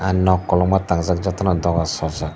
nog kolokma tangjak jotono dogar sojak.